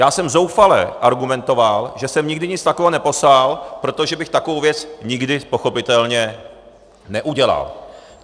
Já jsem zoufale argumentoval, že jsem nikdy nic takového neposlal, protože bych takovou věc nikdy pochopitelně neudělal.